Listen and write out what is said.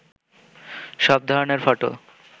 সব ধরনের ফটো